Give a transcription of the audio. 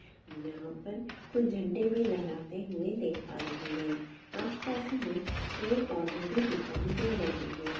यहां पर कुछ झंडे भी लहराते हुए देख पा रहे हैं आस-पास हमें पेड़ पौधे भी दिखाई दे रहे हैं।